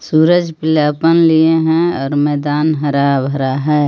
सूरज लिए है और मैदान हरा भरा है.